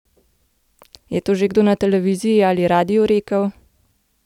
Je to že kdo na televiziji ali radiu rekel?